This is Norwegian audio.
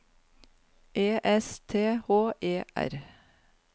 E S T H E R